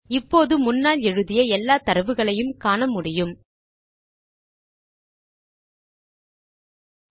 இப்போது முன்னால் எழுதிய எல்லாத்தரவுகளையும் காண முடிகிறது